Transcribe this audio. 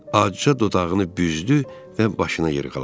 Acıca dodağını büzdü və başını yırğaladı.